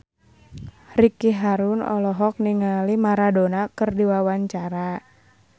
Ricky Harun olohok ningali Maradona keur diwawancara